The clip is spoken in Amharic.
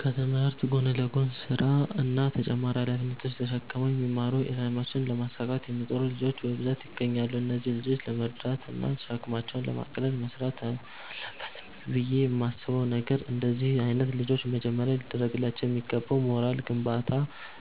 ከትምህርት ጎን ለጎን ስራ እና ተጨማሪ ሃላፊነቶች ተሽክመው የሚማሩ አላማቸውን ለማሳካት የሚጥሩ ልጆች በብዛት ይገኛሉ። እነዚህን ልጆች ለመርዳት እና ሸክማቸውን ለማቅለል መስራት አለበት ብየ የማስበው ነገር፤ እንደነዚህ አይነት ልጆች መጀመሪያ ሊደርግላቸው የሚገባው የሞራል ግንባታ